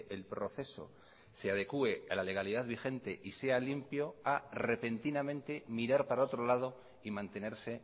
el proceso se adecue a la legalidad vigente y sea limpio a repentinamente mirar para otro lado y mantenerse